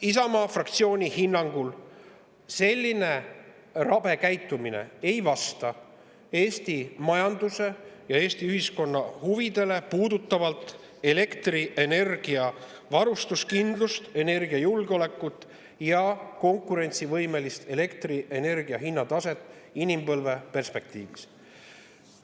Isamaa fraktsiooni hinnangul ei vasta selline rabe käitumine Eesti majanduse ja Eesti ühiskonna huvidele, elektrienergia varustuskindlust, energiajulgeolekut ja elektrienergia konkurentsivõimelist hinnataset puudutavalt inimpõlve perspektiivis.